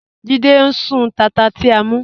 Jídẹ̀ ń sún tátà ti à mú.